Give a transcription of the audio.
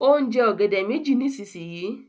o n je ògèdè méjì nísìsiyìí.